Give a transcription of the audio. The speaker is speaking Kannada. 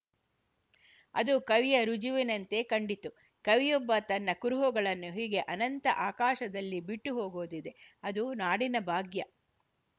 ಅದು ಕವಿಯ ರುಜುವಿನಂತೆ ಕಂಡಿತು ಕವಿಯೊಬ್ಬ ತನ್ನ ಕುರುಹುಗಳನ್ನು ಹೀಗೆ ಅನಂತ ಆಕಾಶದಲ್ಲಿ ಬಿಟ್ಟುಹೋಗುವುದಿದೆಅದು ನಾಡಿನ ಭಾಗ್ಯ